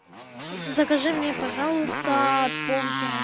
закажи мне пожалуйста бургеры